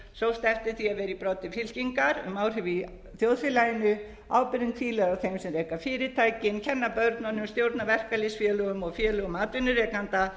eftir því að vera í broddi fylkingar um áhrif í þjóðfélaginu ábyrgðin hvílir á þeim sem reka fyrirtækin kenna börnunum stjórna verkalýðsfélögum og félögum atvinnurekenda